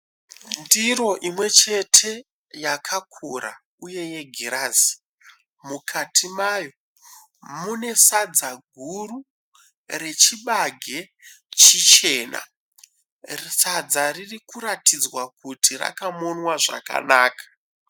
Ndiro imwe chete yakakura uye yegirazi. Mukati mayo mune sadza guru rechibage chichena. Sadza ririkuratidzwa kuti rakamonwa zvakanaka.